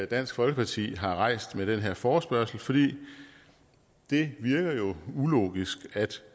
dansk folkeparti har rejst med denne forespørgsel for det virker ulogisk at